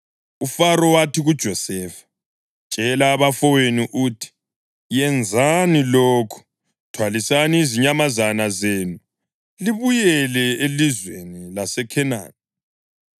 UFaro wathi, kuJosefa, “Tshela abafowenu uthi, ‘Yenzani lokhu: Thwalisani izinyamazana zenu libuyele elizweni laseKhenani,